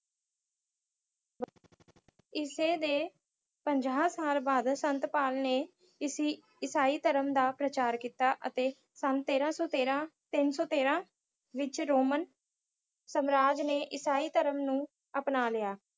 ਈਸੇ ਦੇ ਪੰਜਾਹ ਸਾਲ ਬਾਅਦ ਸੰਤ ਪਾਲ ਨੇ ਈਸ~ ਈਸਾਈ ਧਰਮ ਦਾ ਪ੍ਰਚਾਰ ਕੀਤਾ ਅਤੇ ਸੰਨ ਤੇਰਾਂ ਸੌ ਤੇਰਾ, ਤਿੰਨ ਸੌ ਤੇਰਾਂ ਵਿੱਚ ਰੋਮਨ ਸਾਮਰਾਜ ਨੇ ਈਸਾਈ ਧਰਮ ਨੂੰ ਅਪਣਾ ਲਿਆ।